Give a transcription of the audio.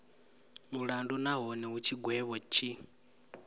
mulandu nahone hu tshigwevho tshi